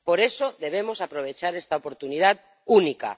por eso debemos aprovechar esta oportunidad única.